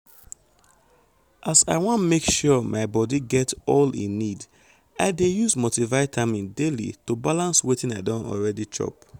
as i wan make sure my body get all e need i dey use multivitamin daily to balance wetin i don already chop